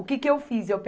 O que que eu fiz? Eu